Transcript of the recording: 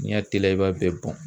N'i y'a teliya i b'a bɛɛ bɔn.